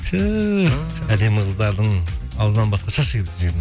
түһ әдемі қыздардың аузынан басқа